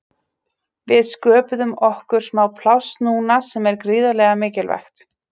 Við sköpuðum okkur smá pláss núna sem var gríðarlega mikilvægt.